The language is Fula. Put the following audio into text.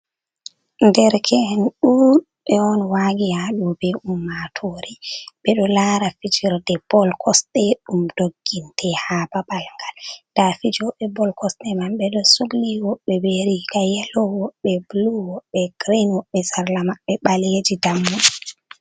Dereke’en ɗuuɗɓe on waagi haaɗo be ummatoore, ɓe ɗo laara fijirde bol kosɗe ,ɗum dogginte ha babal ngal .Nda fijooɓe bal kosɗe man, ɓe ɗo sugli woɓɓe, be riiga yelo woɓɓe bulu woɓɓe girin be sarla maɓɓe ɓaleeji dammuɗi.